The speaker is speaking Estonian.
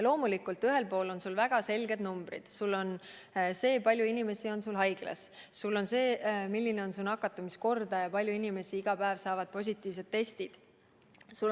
Loomulikult, ühel pool on väga selged numbrid: kui palju inimesi on haiglas, milline on nakatumiskordaja ja kui palju inimesi annab iga päev positiivse testi.